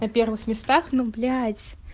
на первых местах ну блять